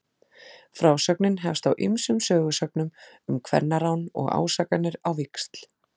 Frásögnin hefst á ýmsum sögusögnum um kvennarán og ásakanir á víxl.